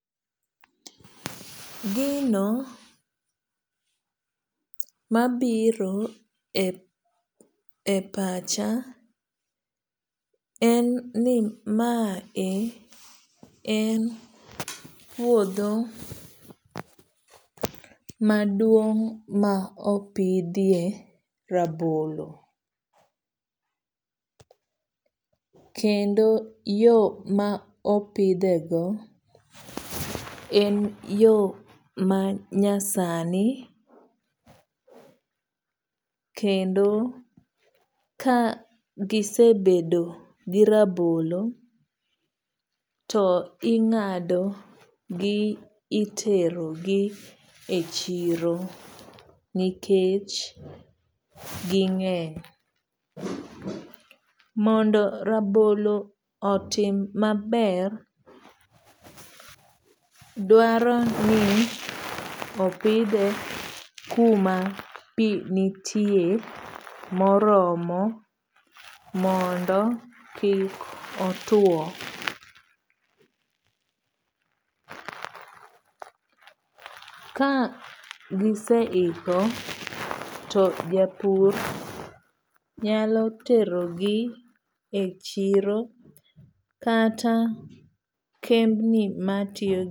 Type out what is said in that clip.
Gino mabiro e pacha en ni ma e en puodho maduong' ma opidhie rabolo. Kendo yo ma opidhe go en yo manyasani. Kendo ka gisebedo gi rabolo to ing'ado gi itero gi e chiro nikech ging'eny. Mondo rabolo otim maber, dwaro ni opidhe kuma pi nitie moromo mondo kik otuo. Ka gise iko to japur nyalo tero gi e chiro kata kembni matiyo.